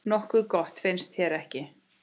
Nokkuð gott, finnst þér ekki?